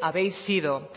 habéis sido